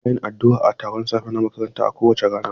Muna yin addu'a a taron safe na makaranta kowace rana.